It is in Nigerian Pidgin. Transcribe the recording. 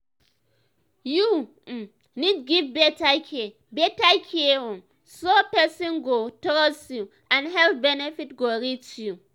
you um need give better care better care um so person go um trust you and health benefit go reach you.